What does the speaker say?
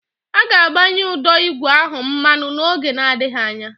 A ga-agbanye ụdọ ígwè ahụ mmanụ n'oge adịghị anya.